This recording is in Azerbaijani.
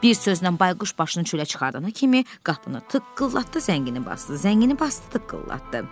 Bir sözlə Bayquş başını çölə çıxardana kimi qapını tıqqıllatdı, zəngini basdı, zəngini basdı, tıqqıllatdı.